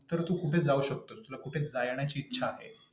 तर तू कुठे जाऊ शकतोस? तुला कुठे जाण्याची इच्छा आहे?